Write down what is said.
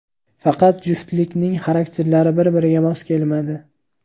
Faqat juftlikning xarakterlari bir-biriga mos kelmadi.